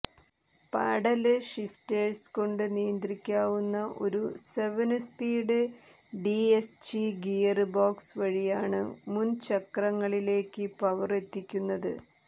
paddle shifters കൊണ്ട് നിയന്ത്രിക്കാവുന്ന ഒരു seven speed DSG gearbox വഴിയാണ് മുന് ചക്രങ്ങളിലേക്ക് പവര് എത്തിക്കുന്നത്